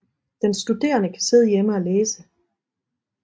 Den studerende kan sidde hjemme og læse